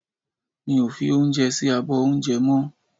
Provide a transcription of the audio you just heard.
Mi ò fi oúnjẹ sí abọ́ oúnjẹ ọmọ